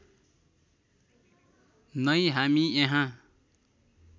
नै हामी यहाँ